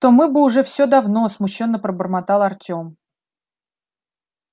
то мы бы ужё все давно смущённо пробормотал артём